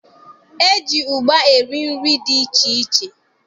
E ji ụgba eri nri dị iche iche